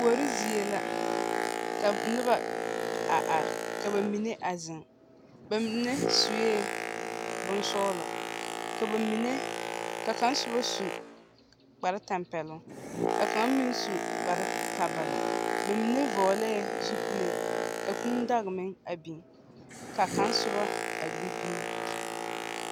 Kuori zie la, ka n noba are are. Ka ba mine a zeŋe. Ba mine sue bonsɔgelɔ, ka ba mine, ka kaŋa soba su kpar-tampɛle, ka kaŋa meŋ su kpar-kabala. Ba mine vɔglee zupele, ka kūū daga meŋ a biŋ, ka kaŋa soba a gbi dumo.